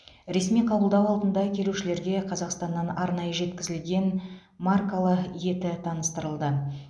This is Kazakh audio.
ресми қабылдау алдында келушілерге қазақстаннан арнайы жеткізілген маркалы еті таныстырылды